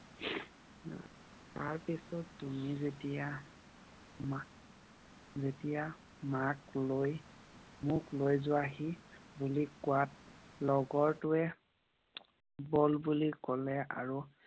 তাৰ পিছত তুমি যেতিয়া মাক লৈ মোক লৈ যোৱাহি বুলি কোৱাত লগৰটোৱে গল বুলি কলে আৰু